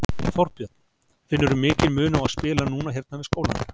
Þorbjörn: Finnurðu mikinn mun á að spila núna hérna við skólann?